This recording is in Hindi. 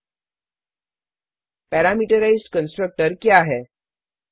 httpwwwspoken tutorialओआरजी पैरामीटराइज्ड कंस्ट्रक्टर क्या है